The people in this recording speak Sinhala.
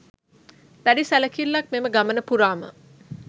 දැඩි සැලකිල්ලක් මෙම ගමන පුරාම